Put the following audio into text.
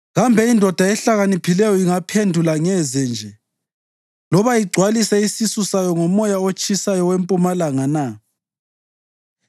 “Kambe indoda ehlakaniphileyo ingaphendula ngeze nje loba igcwalise isisu sayo ngomoya otshisayo wempumalanga na?